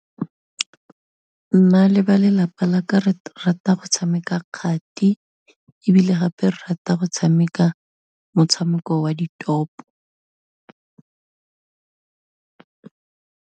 Nna le balelapa laka re rata go tshameka kgati, ebile gape rata go tshameka motshameko wa ditopo.